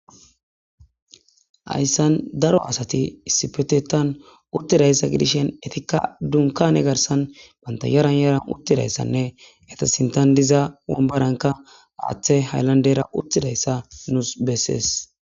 Haysan daro asati issippetetan uttida issa gidishen, etikka dunkaane garsan banta yaran yaran uttida issane,eta sinttan diza wambaranka haaththay haylandera uttida issa nusi bettees.